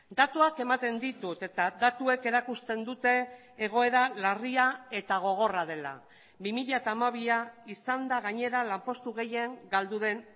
datuak ematen ditut eta datuek erakusten dute egoera larria eta gogorra dela bi mila hamabia izan da gainera lanpostu gehien galdu den